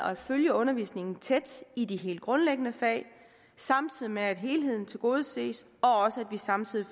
at følge undervisningen tæt i de helt grundlæggende fag samtidig med at helheden tilgodeses og samtidig